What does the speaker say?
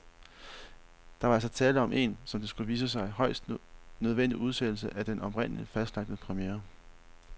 Der var altså tale om en, som det skulle vise sig, højst nødvendig udsættelse af den oprindeligt fastlagte premiere.